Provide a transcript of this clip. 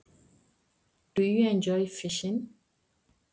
Finnst þér gaman að veiða fisk?